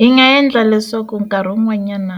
Hi nga endla leswaku nkarhi wun'wanyana